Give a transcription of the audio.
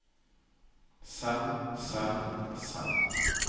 selv selv selv